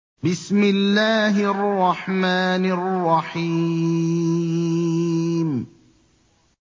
بِسْمِ اللَّهِ الرَّحْمَٰنِ الرَّحِيمِ